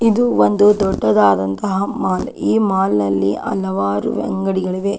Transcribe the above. ಇದು ಒಂದು ದೊಡ್ಡದಾದಂತಹ ಮಾಲ್ ಈ ಮಾಲ್ ನಲ್ಲಿ ಹಲವಾರು ಅಂಗಡಿಗಳಿವೆ.